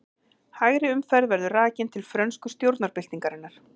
Hægri umferð verður rakin til frönsku stjórnarbyltingarinnar.